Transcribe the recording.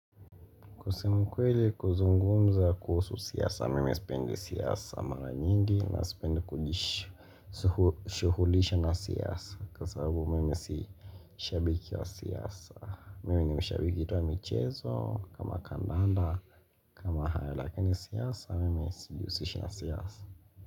Kusema ukweli kuzungumza kuhusu siasa, mimi spendi siasa mara nyingi na spendi kujishuhulisha na siasa kwa sababu mimi si shabiki wa siasa Mimi ni mshabiki tu wa michezo kama kandanda kama haya lakini siasa mimi sijihusishi na siasa.